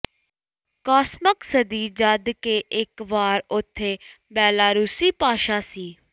ਅਕਾਿਸਮਕ ਸਦੀ ਜਦ ਕਿ ਇੱਕ ਵਾਰ ਉੱਥੇ ਬੈਲਾਰੂਸੀ ਭਾਸ਼ਾ ਸੀ